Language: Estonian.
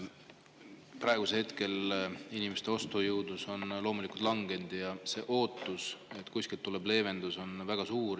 Praegu on inimeste ostujõud langenud ja ootus, et kuskilt tuleb leevendus, on väga suur.